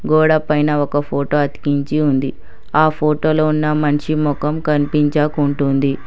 గోడ పైన ఒక ఫోటో అతికించి ఉంది. ఆ ఫోటో లో ఉన్న మనిషి మొఖం కనిపించకుంటుంది.